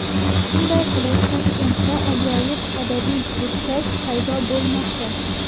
Shunday qilib, Toshkentda ajoyib adabiy burchak paydo bo‘lmoqda.